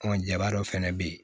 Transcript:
Ɔ jaba dɔ fɛnɛ bɛ ye